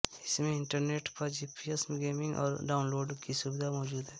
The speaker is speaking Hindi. इसमें इंटरनेट पर जीपीएस गेमिंग और डाउनलोड की सुविधा मौजूद है